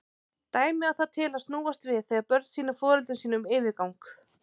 Dæmið á það til að snúast við þegar börn sýna foreldrum sínum yfirgang.